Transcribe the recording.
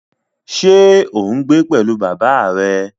Ṣé ò ń gbé pẹ̀lú bàbá rẹ?